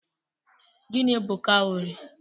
Gịnị bu kawurii?